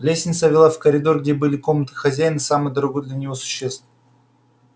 лестница вела в коридор где были комнаты хозяина и самых дорогой для него существ